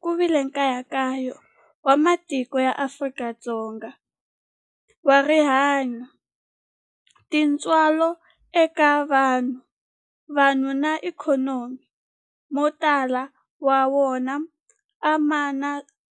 Ku vile nkayakayo wa matiko ya Afrika wa rihanyu, tintswalo eka vanhu, vanhu na ikhonomi, mo tala ma wona